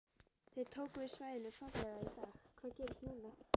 Þið tókuð við svæðinu formlega í dag, hvað gerist núna?